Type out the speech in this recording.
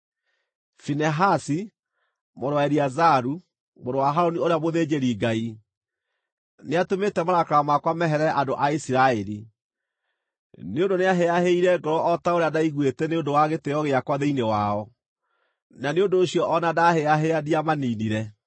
“Finehasi, mũrũ wa Eleazaru, mũrũ wa Harũni ũrĩa mũthĩnjĩri-Ngai, nĩatũmĩte marakara makwa meherere andũ a Isiraeli; nĩ ũndũ nĩahĩahĩire ngoro o ta ũrĩa ndaiguite nĩ ũndũ wa gĩtĩĩo gĩakwa thĩinĩ wao, na nĩ ũndũ ũcio o na ndahĩahĩa ndiamaniinire.